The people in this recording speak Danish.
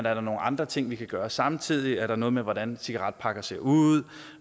er nogle andre ting vi kan gøre samtidig er der noget med hvordan cigaretpakker ser ud